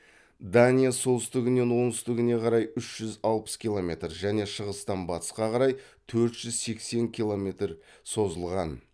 дания солтүстігінен оңтүстігіне қарай үш жүз алпыс километр және шығыстан батысқа қарай төрт жүз сексен километрге созылған